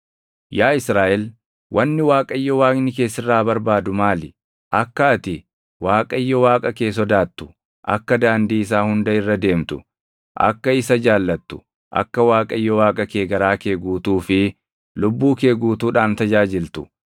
Yaa Israaʼel, wanni Waaqayyo Waaqni kee sirraa barbaadu maali? Akka ati Waaqayyo Waaqa kee sodaattu, akka daandii isaa hunda irra deemtu, akka isa jaallattu, akka Waaqayyo Waaqa kee garaa kee guutuu fi lubbuu kee guutuudhaan tajaajiltu,